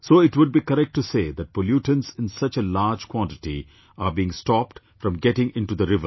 So it would be correct to say that pollutants in such a large quantity are being stopped from getting into the river